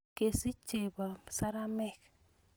kasiich chepoo seremek